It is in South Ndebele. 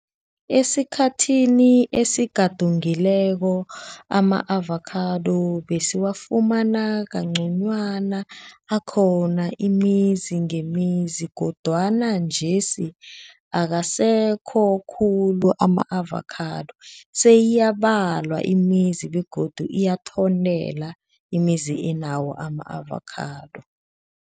Esikhathini esigadungileko ama-avakhado besiwafumana kangconywana, akhona imizi ngemizi kodwana njesi, akasekho khulu ama-avakhado, seyiyabalwa imizi begodu iyathontela imizi anawo ama-avakhado.